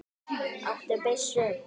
Áttu byssu?